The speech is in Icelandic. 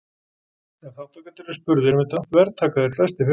Ef þátttakendur eru spurðir um þetta þvertaka þeir flestir fyrir það.